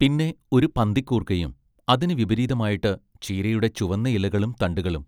പിന്നെ ഒരു പന്തിക്കൂർക്കയും അതിന് വിപരീതമായിട്ട് ചീരയുടെ ചുവന്ന ഇലകളും തണ്ടുകളും